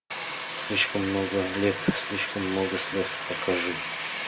слишком много лет слишком много слез покажи